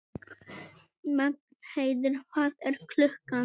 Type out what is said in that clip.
Magnheiður, hvað er klukkan?